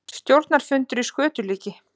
Stjórnarfundur í skötulíki